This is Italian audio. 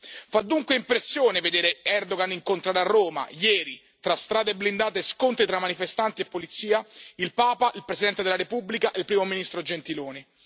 100. Fa dunque impressione vedere Erdogan incontrare a Roma, ieri, tra strade blindate e scontri tra manifestanti e polizia, il Papa, il Presidente della Repubblica e il Primo ministro Gentiloni.